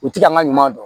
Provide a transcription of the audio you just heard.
U ti an ka ɲuman dɔn